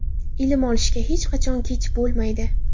Ilm olishga hech qachon kech bo‘lmaydi.